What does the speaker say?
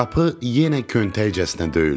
Qapı yenə köntəkcəsinə döyüldü.